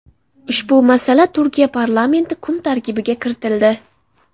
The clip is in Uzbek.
Ushbu masala Turkiya parlamenti kun tartibiga kiritildi.